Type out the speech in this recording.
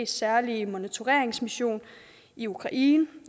særlige monitoreringsmission i ukraine